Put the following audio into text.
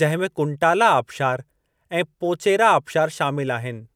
जंहिं में कुंटाला आबशारु ऐं पोचेरा आबशारु शामिलु आहिनि।